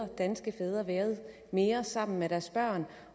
danske fædre været mere sammen med deres børn